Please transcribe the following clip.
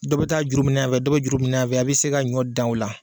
Dɔ bi taa juru minɛ yanfɛ dɔ bɛ juru minɛ yanfɛ a bi se ka ɲɔ dan o la.